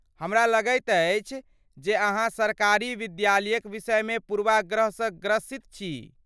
हमरा लगैत अछि जे अहाँ सरकारी विद्यालयक विषयमे पूर्वाग्रहसँ ग्रसित छी।